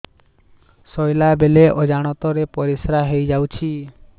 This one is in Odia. ଶୋଇଲା ବେଳେ ଅଜାଣତ ରେ ପରିସ୍ରା ହେଇଯାଉଛି